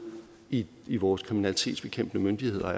i i vores kriminalitetsbekæmpende myndigheder